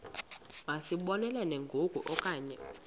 masizibonelele ngoku okanye